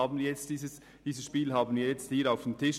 Dieses Spiel liegt nun hier auf dem Tisch.